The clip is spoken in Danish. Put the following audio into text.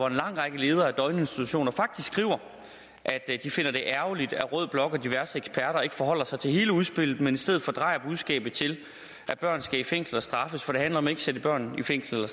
en lang række ledere af døgninstitutioner faktisk at de finder det ærgerligt at rød blok og diverse eksperter ikke forholder sig til hele udspillet men i stedet fordrejer budskabet til at børn skal i fængsel og straffes for det handler om at sætte børn i fængsel og